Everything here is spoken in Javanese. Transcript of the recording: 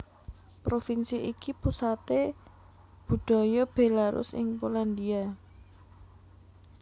Provinsi iki pusaté budaya Bélarus ing Polandia